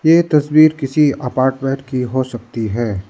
ये तस्वीर किसी अपार्टमेंट की हो सकती है।